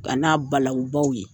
A n'a balawu baw ye.